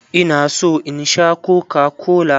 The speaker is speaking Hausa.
Ina so in Sha kokakola.